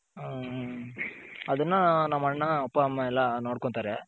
ಹ್ಮ್ ಅದನ್ನ ನಮ್ಮಣ್ಣ ನಮ್ಮಪ್ಪಾಮ್ಮ ಎಲ್ಲ ನೋಡ್ಕೊಂತಾರೆ.